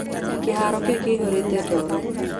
Kĩharo kĩu kĩiyũrĩte ndoro.